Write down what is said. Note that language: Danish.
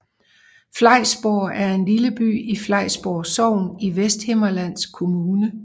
Flejsborg er en lille by i Flejsborg Sogn i Vesthimmerlands Kommune